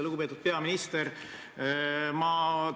Lugupeetud peaminister!